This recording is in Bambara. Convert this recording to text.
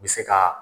U bɛ se ka